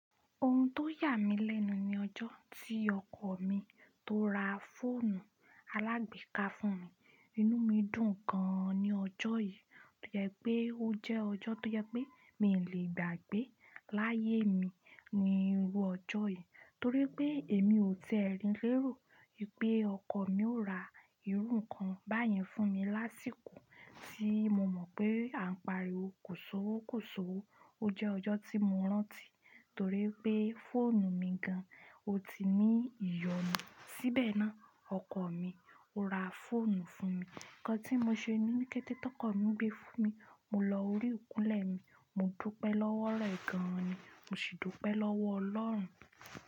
Ohun tó yà mí lẹ́nu ni ọjọ́ tí ọkọ mi tó ra fóònù alágbéka fún mi. Inú mi dùn gan an ní ọjọ́ yìí, ó yẹ pé ó jẹ́ ọjọ́ tó yẹ pé mí le gbàgbé láyé mi ní irú ọjọ́ yìí torí pé èmi ò tẹ́ ẹrin lé ro ìpẹ́ ọkọ mi ó ra irú nǹkan báyẹn fún mi lásìkò tí mo mọ̀ pé à ń pariwo kò so wó kò so wó. Ó jẹ́ ọjọ́ tí mo rántí torí pé fóònù mi gan an, ó ti ní ìyọnu. Síbẹ̀ náà, ọkọ mi ó ra fóònù fún mi. Ǹkan tí mo ṣe ní kété tó kọ mí gbé fún mi, mo lọ orí òkun lè ni, mo dúpẹ́ lọ́wọ́ rẹ gan an ni, mo sì dúpẹ́ lọ́wọ́ ọlọ́run.